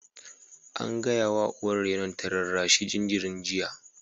An gaya wa uwar rainon ta rarrashi jinjirin jiya!